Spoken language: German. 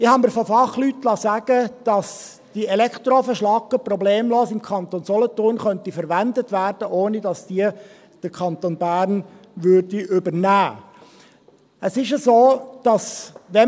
Ich habe mir von Fachleuten sagen lassen, dass diese Elektroofenschlacke problemlos im Kanton Solothurn verwendet werden könnte, ohne dass sie der Kanton Bern übernehmen würde.